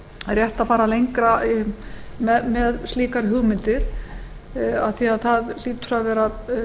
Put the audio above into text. rétt að fara lengra með slíkar hugmyndir af því að það hlýtur að vera